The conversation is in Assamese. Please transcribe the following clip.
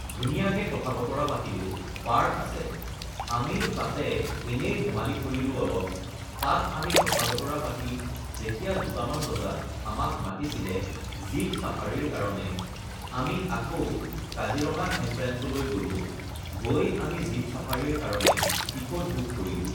ধুনীয়াকে কথা-বতৰা পাতিলো, পাৰ্ক আছে, আমি তাতে এনেই ধেমালী কৰিলোঁ অলপ, তাত আমি কথা বতৰা পাতি যেতিয়া দুটামান বজাত আমাক মাতিছিলে জীপ চাফাৰীৰ কাৰণে, আমি আকৌ কাজিৰঙা এনট্ৰেঞ্চলৈ গ'লোঁ, গৈ আমি জীপ চাফাৰীৰ কাৰণে টিকট বুক কৰিলোঁ